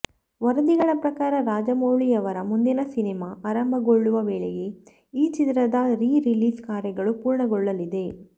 ವರದಿಗಳ ಪ್ರಕಾರ ರಾಜಮೌಳಿಯವರ ಮುಂದಿನ ಸಿನಿಮಾ ಆರಂಭಗೊಳ್ಳುವ ವೇಳೆಗೆ ಈ ಚಿತ್ರದ ರೀ ರಿಲೀಸ್ ಕಾರ್ಯಗಳು ಪೂರ್ಣಗೊಳ್ಳಲಿದೆ